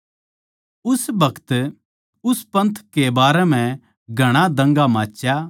उस बखत उस पन्थ कै बारै म्ह घणा दंगा माच्या